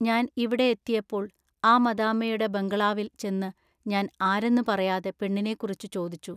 ഞാൻ ഇവിടെ എത്തിയപ്പോൾ ആ മദാമ്മയുടെ ബങ്കളാവിൽ ചെന്നു ഞാൻ ആരെന്നു പറയാതെ പെണ്ണിനെക്കുറിച്ചു ചോദിച്ചു.